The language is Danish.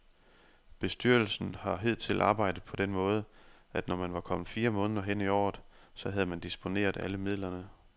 Bestyrelsen har hidtil arbejdet på den måde, at når man var kommet fire måneder hen i året, så havde man disponeret alle midlerne.